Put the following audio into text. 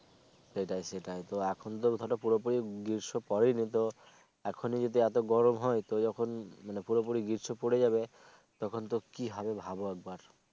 সেটাই সেটাই তো এখন পুরো পুরি গ্রীষ্ম পরে নি তো এখনি যদি এত গরম হয় তো যখন মানে পুরো পুরি গ্রীষ্ম পরে যাবে তখন তো কি হবে ভাবো একবার